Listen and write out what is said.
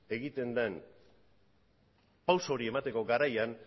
egiten den pausu hori emateko garaian